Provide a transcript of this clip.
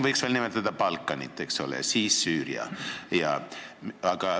Võiks veel nimetada Balkanit, eks ole, samuti Süüriat.